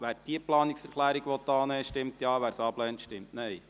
Wer diese Planungserklärung annehmen will, stimmt Ja, wer sie ablehnt, stimmt Nein.